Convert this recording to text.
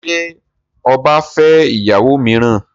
Ṣé ọba fẹ́ ìyàwó mìíràn?